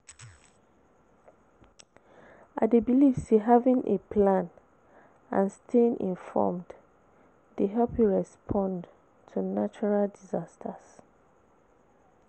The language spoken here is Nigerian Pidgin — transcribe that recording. I dey believe say having a plan and staying informed dey help you respond to natural disasters.